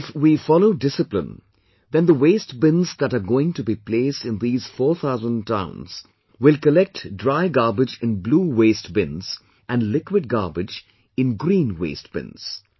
If we follow discipline, then the waste bins that are going to be placed in these 4 thousand towns will collect dry garbage in blue waste bins and liquid garbage in green waste bins